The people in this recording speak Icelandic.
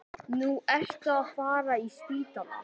Nú ertu að fara á spítala